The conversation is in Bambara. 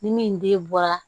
Ni min den bɔra